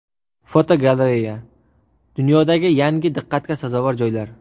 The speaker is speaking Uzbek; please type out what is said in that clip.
Fotogalereya: Dunyodagi yangi diqqatga sazovor joylar.